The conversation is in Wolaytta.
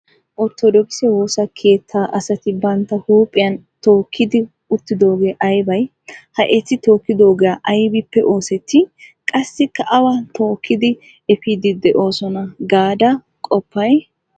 Orthodokise woosa keettaa asati bantta huuphphiyan tookkidi uttidoogee aybay? Ha eti tookkidoogee aybippe oosettii qassikka awa tookkidi efiiddi de'oosona gaada qoppay?